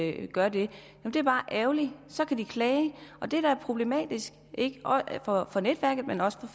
ikke gør det det er bare ærgerligt så kan de klage og det er da problematisk ikke bare for netværket men også for